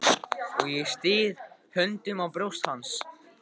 Og ég styð höndunum á brjóst hans.